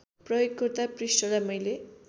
प्रयोगकर्ता पृष्ठलाई मैले